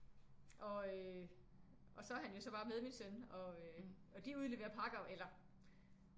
Og øh og så er han jo så bare med min søn og øh de udleverer pakker eller